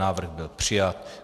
Návrh byl přijat.